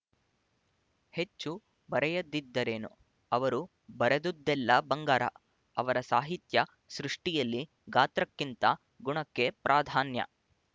ಹೆಚ್ಚು ಬರೆಯದಿದ್ದರೇನು ಅವರು ಬರೆದುದೆಲ್ಲ ಬಂಗಾರ ಆವರ ಸಾಹಿತ್ಯ ಸೃಷ್ಟಿಯಲ್ಲಿ ಗಾತ್ರಕ್ಕಿಂತ ಗುಣಕ್ಕೆ ಪ್ರಾಧಾನ್ಯ